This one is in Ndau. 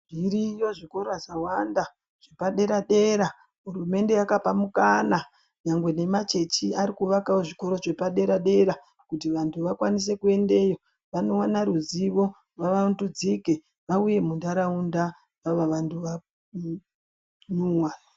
Zviriyo zvikora zvawanda zvepaderadera hurumende yakapa mukana nyangwe nemachechi arikuvakawo zvikora zvepaderadera kuti vanhu vakwanise kuendeyo vanoona ruzivo vavandudzike vauye munharaunda vava vanhu vanewani.